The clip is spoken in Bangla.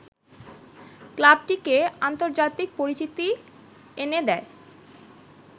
ক্লাবটিকে আন্তর্জাতিক পরিচিতি এনে দেয়